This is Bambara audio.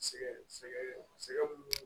Sɛgɛn sɛgɛn sɛgɛn mun b'o